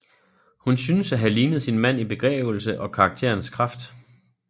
Hun synes at have lignet sin mand i begavelse og karakterens kraft